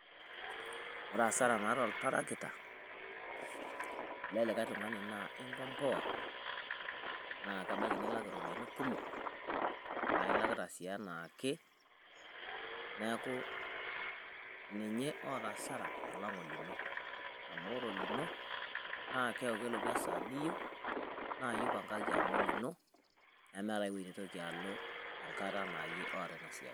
Ore hasara naata oltarakita le likae tung`ani naa inkompoa, naa kebaiki nilak irropiyiani kumok. Naa ilakita sii anaake niaku ninye oota hasara alang o lino. Amu ore olino na keaku kelotu esaa niyieu naa iyie oipangaki amu olino nemeeta ai wueji naitoki alo enkata naa iyie oota ina siai.